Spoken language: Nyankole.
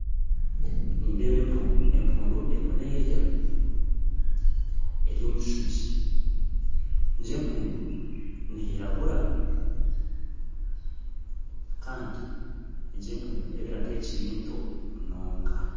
Nindeeba empuundu, empuundu erimu nerya eri omukishungi egi empuundu neyiragura kandi egi empuundu nereebeka kuba ekiri nto munonga